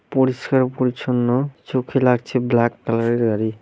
পরিষ্কার পরিচ্ছন্ন চোখে লাগছে ব্ল্যাক কালার -এর গাড়ি ।